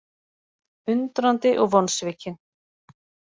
Undrandi og vonsvikinn